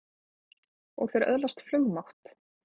Og þeir öðlast flugmátt!